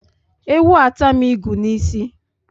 Ewu atam ịgụ n'isi